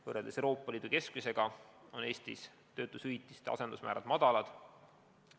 Võrreldes Euroopa Liidu keskmisega on Eestis töötuskindlustushüvitiste asendusmäärad madalad.